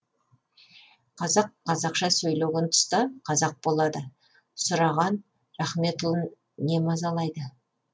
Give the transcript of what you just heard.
қазақ қазақша сөйлеген тұста қазақ болады сұраған рахметұлын не мазалайды